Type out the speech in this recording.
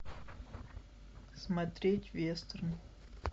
смотреть вестерн